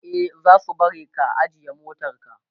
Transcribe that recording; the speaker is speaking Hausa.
e zasu bari ka ajiye motarka